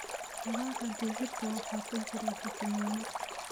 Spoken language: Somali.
Dalagga digirta waxaa ku jira fiitamiino.